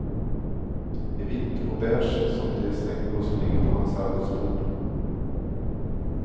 I vitt och beige som de snäckor som ligger på hans arbetsbord.